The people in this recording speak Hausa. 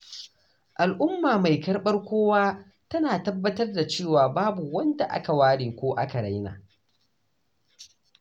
Al’umma mai karɓar kowa tana tabbatar da cewa babu wanda aka ware ko aka raina.